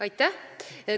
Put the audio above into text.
Aitäh!